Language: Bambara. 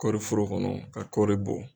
Kɔri foro kɔnɔ ka kɔri bɔ